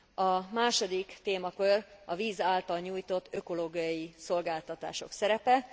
A második témakör a víz által nyújtott ökológiai szolgáltatások szerepe.